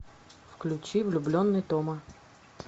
включи влюбленный тома